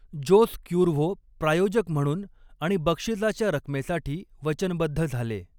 Jose Cuervo प्रायोजक म्हणून आणि बक्षीसाच्या रकमेसाठी वचनबद्ध झाले.